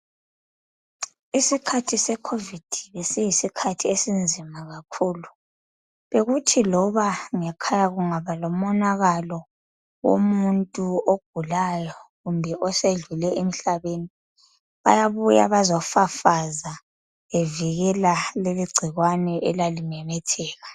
Isikhathi se COVID bekuyisikhathi esinzima kakhulu. Bekuthi loba ngekhaya kungaba lomonakalo womuntu ogulayo kumbe osedlule emhlabeni bayabuya bazofafaza bevikela leligcikwane elalimemetheka.